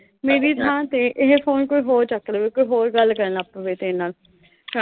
ਮੇਰੀ ਥਾਂ ਤੇ ਇਹ ਫੋਨ ਕੋਈ ਹੋਰ ਚੱਕ ਲੂ ਗਾ। ਕੋਈ ਹੋਰ ਗੱਲ ਕਰਨ ਲੱਗ ਪਊ ਗਾ ਤੇਰੇ ਨਾਲ।